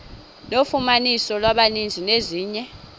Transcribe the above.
nofumaniso lwamanzi nezinye